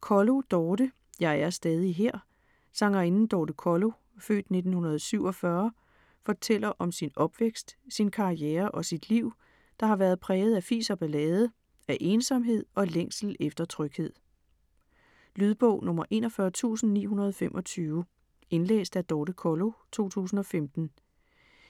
Kollo, Dorthe: Jeg er stadig her Sangerinden Dorthe Kollo (f. 1947) fortæller om sin opvækst, sin karriere og sit liv, der har været præget af fis og ballade - af ensomhed og længsel efter tryghed. Lydbog 41925 Indlæst af Dorthe Kollo, 2015.